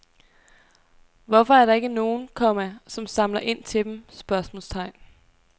Hvorfor er der ikke nogen, komma som samler ind til dem? spørgsmålstegn